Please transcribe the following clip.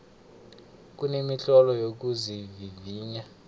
kunemitlolo yokuzivivinya